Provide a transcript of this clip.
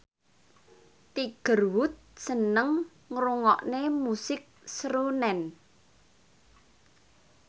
Tiger Wood seneng ngrungokne musik srunen